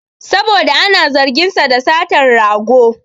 Saboda ana zargin sa da satan rago